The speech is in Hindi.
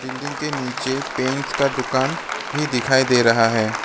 बिल्डिंग के नीचे पेंट्स का दुकान भी दिखाई दे रहा है।